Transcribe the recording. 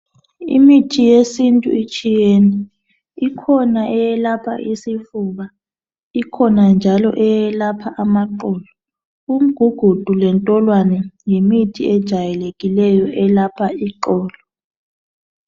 Imithi yesintu itshiyene ikhona eyelapha isifuba, ikhona njalo eyelapha amaqolo, imigugudu layo yimithi ejayelekileyo eyelapha iqolo.